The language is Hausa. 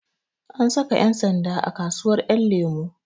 An saka ƴan sanda a kasuwar ƴanlemo